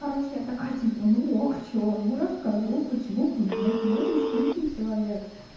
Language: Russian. короче я такая типа ну ок что ну расскажу почему бы и нет я не скрытный человек